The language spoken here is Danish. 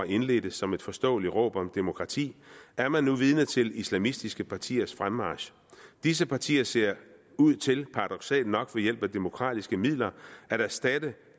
indledtes som et forståeligt råb om demokrati er man nu vidne til islamistiske partiers fremmarch disse partier ser ud til paradoksalt nok ved hjælp af demokratiske midler at erstatte